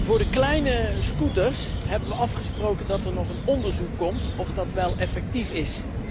Voor de kleine scooters hebben we afgesproken dat er nog een onderzoek komt of dat wel effectief is.